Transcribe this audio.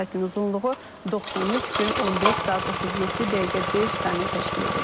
Yay fəslinin uzunluğu 93 gün 15 saat 37 dəqiqə 5 saniyə təşkil edəcək.